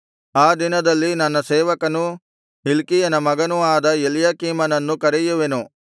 ಆ ದಿನದಲ್ಲಿ ನನ್ನ ಸೇವಕನೂ ಹಿಲ್ಕೀಯನ ಮಗನೂ ಆದ ಎಲ್ಯಾಕೀಮನನ್ನು ಕರೆಯುವೆನು